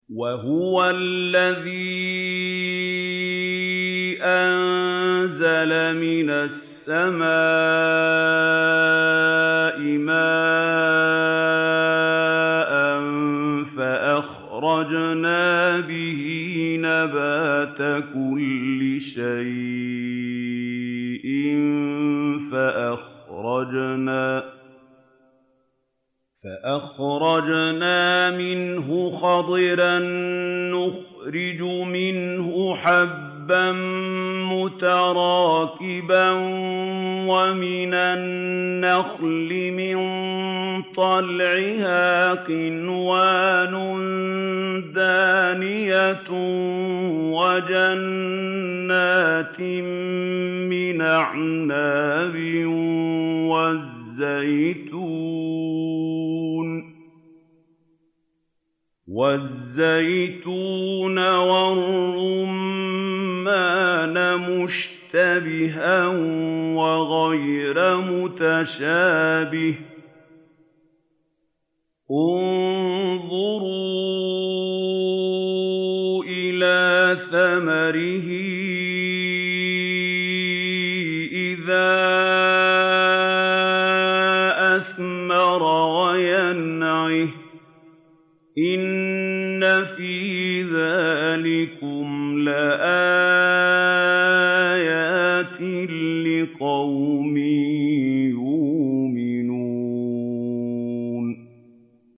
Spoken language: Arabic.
وَهُوَ الَّذِي أَنزَلَ مِنَ السَّمَاءِ مَاءً فَأَخْرَجْنَا بِهِ نَبَاتَ كُلِّ شَيْءٍ فَأَخْرَجْنَا مِنْهُ خَضِرًا نُّخْرِجُ مِنْهُ حَبًّا مُّتَرَاكِبًا وَمِنَ النَّخْلِ مِن طَلْعِهَا قِنْوَانٌ دَانِيَةٌ وَجَنَّاتٍ مِّنْ أَعْنَابٍ وَالزَّيْتُونَ وَالرُّمَّانَ مُشْتَبِهًا وَغَيْرَ مُتَشَابِهٍ ۗ انظُرُوا إِلَىٰ ثَمَرِهِ إِذَا أَثْمَرَ وَيَنْعِهِ ۚ إِنَّ فِي ذَٰلِكُمْ لَآيَاتٍ لِّقَوْمٍ يُؤْمِنُونَ